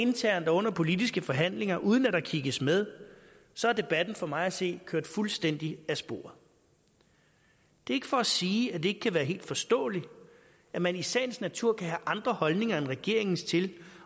internt og under politiske forhandlinger uden at der kigges med så er debatten for mig at se kørt fuldstændig af sporet det er ikke for at sige at det ikke kan være helt forståeligt at man i sagens natur kan have andre holdninger end regeringens til